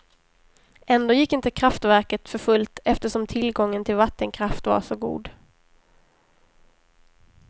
Ändå gick inte kraftverket för fullt, eftersom tillgången till vattenkraft var så god.